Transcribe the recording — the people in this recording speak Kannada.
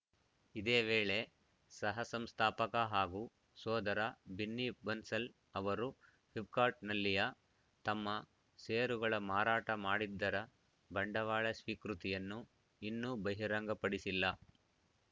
ಇದೇ ವೇಳೆ ಸಹ ಸಂಸ್ಥಾಪಕ ಹಾಗೂ ಸೋದರ ಬಿನ್ನಿ ಬನ್ಸಲ್‌ ಅವರು ಫಿಪ್‌ಕಾರ್ಟ್‌ನಲ್ಲಿಯ ತಮ್ಮ ಷೇರುಗಳ ಮಾರಾಟ ಮಾಡಿದ್ದರ ಬಂಡವಾಳ ಸ್ವೀಕೃತಿಯನ್ನು ಇನ್ನೂ ಬಹಿರಂಗ ಪಡಿಸಿಲ್ಲ